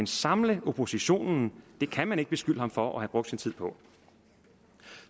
samle oppositionen kan man ikke beskylde ham for at have brugt sin tid på